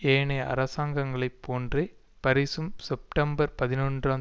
ஏனைய அரசாங்கங்களை போன்றே பாரீசும் செப்டம்பர் பதினொன்றாம்